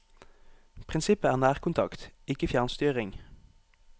Prinsippet er nærkontakt, ikke fjernstyring.